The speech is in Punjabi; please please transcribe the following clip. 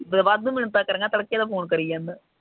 ਵਾਧੂ ਮਿੰਨਤਾਂ ਕਰੀਆ ਤੜਕੇ ਤਾਂ ਫੋਨ ਕਰੀ ਜਾਂਦਾ